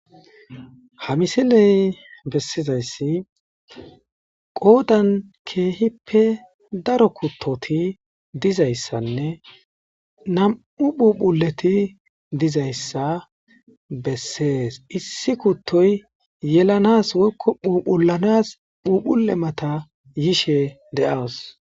ha misiley bessizayssi qoodan keehippe daro kuttoti dizayssanne nam7u phuphuleti dizayssa bessees issi kuttoy yelanas woykko phuphulanas phuphule mata yishe de7awos